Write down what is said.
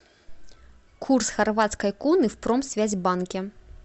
курс хорватской куны в промсвязьбанке